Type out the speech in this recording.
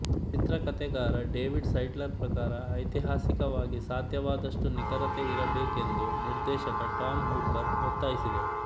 ಚಿತ್ರಕಥೆಗಾರ David Seidler ಪ್ರಕಾರ ಐತಿಹಾಸಿಕವಾಗಿ ಸಾಧ್ಯವಾದಷ್ಟು ನಿಖರತೆ ಇರಬೇಕೆಂದು ನಿರ್ದೇಶಕ ಟಾಮ್ ಹೂಪರ್ ಒತ್ತಾಯಿಸಿದರು